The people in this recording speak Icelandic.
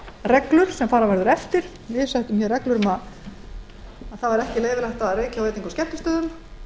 reglur sem fara verður eftir við settum reglur um að ekki væri leyfilegt að reykja á veitinga og skemmtistöðum